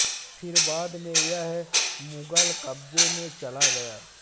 फिर बाद में यह मुगल कब्जे में चला गया